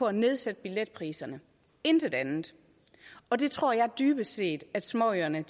at nedsætte billetpriserne intet andet og det tror jeg dybest set at småøerne